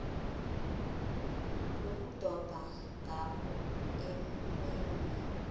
lokudoba ngakuthi umenywe